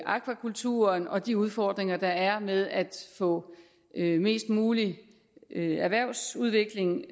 akvakulturen og de udfordringer der er med at få mest mulig erhvervsudvikling